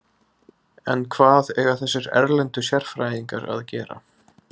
En hvað eiga þessir erlendu sérfræðingar að gera?